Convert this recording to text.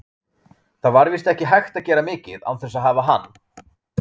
Það var víst ekki hægt að gera mikið án þess að hafa hann.